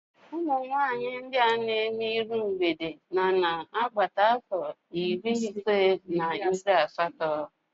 Umunwanyị ndị a na emerụ iru mgbede nọ na agbata afọ iri ise na iri asatọ